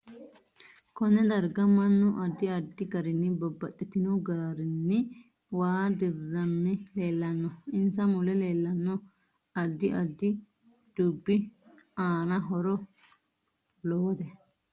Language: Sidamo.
Konne darga mannu addi addi garinni babaxitino garinni waa diriranni leelanno insa mule leelanno addi addi dubbi aano horo lowote